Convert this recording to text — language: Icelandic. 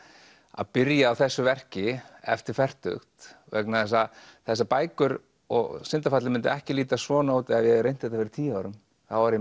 að byrja á þessu verki eftir fertugt vegna þess að þessar bækur og syndafallið myndi ekki líta svona út ef ég reynt þetta fyrir tíu árum þá var ég